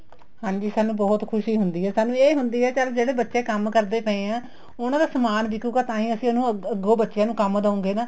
ਹਾਂਜੀ ਸਾਨੂੰ ਬਹੁਤ ਖੁਸ਼ੀ ਹੁੰਦੀ ਹੈ ਸਾਨੂੰ ਇਹ ਹੁੰਦੀ ਏ ਚੱਲ ਜਿਹੜੇ ਬੱਚੇ ਕੰਮ ਕਰਦੇ ਪਏ ਹੈ ਉਹਨਾ ਦਾ ਸਮਾਨ ਵਿਕੂਗਾ ਤਾਂਹੀ ਅਸੀਂ ਅੱਗੋ ਬੱਚਿਆ ਨੂੰ ਕੰਮ ਦਊਂਗੇ ਨਾ